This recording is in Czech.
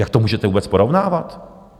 Jak to můžete vůbec porovnávat?